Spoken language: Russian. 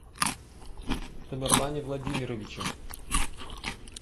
тамерлане владимировиче